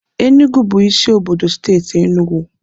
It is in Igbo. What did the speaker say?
Enugu bụ isi obodo steeti Enụgwụ.